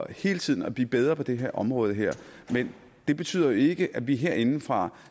hele tiden at blive bedre på det her område men det betyder jo ikke at vi herindefra